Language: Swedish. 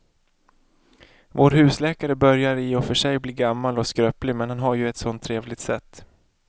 Vår husläkare börjar i och för sig bli gammal och skröplig, men han har ju ett sådant trevligt sätt!